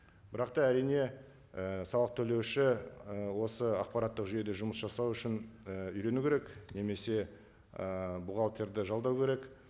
бірақ та әрине і салық төлеуші ы осы ақпараттық жүйеде жұмыс жасау үшін і үйрену керек немесе і бухгалтерді жалдау керек